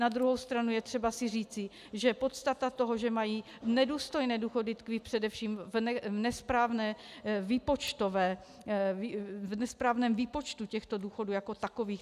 Na druhou stranu je třeba si říci, že podstata toho, že mají nedůstojné důchody, tkví především v nesprávném výpočtu těchto důchodů jako takových.